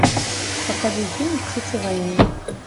покажи фильм птицы войны